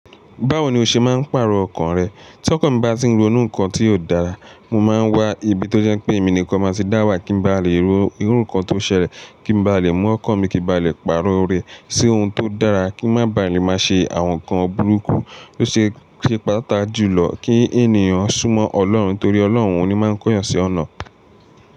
Báwo ni o ṣe máa, ń pàrọ̀ ọkọ̀ rẹ? Tí ọkan mi bá ti ń ronú nǹkan tí kò dáa, mo máa ń wá ibi tó jẹ́ pé èmi nìkan máa ti dá wà kí n ba lè ro irú nǹkan tó ṣẹlẹ̀, kí n ba lè mú ọkàn mi kí ó ba lè pàrọ̀ rẹ̀ sí ohun tó dára, kí ó bá lè má ṣe àwọn nǹkan burúkú o ṣe, é ṣe pàtàkì jùlọ kí ènìyàn súnmọ́ Ọlọ́run torí Ọlọ́run ni ó máa ń kóyan sí ọ̀nà.